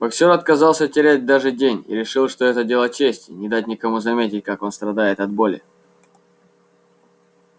боксёр отказался терять даже день и решил что это дело чести не дать никому заметить как он страдает от боли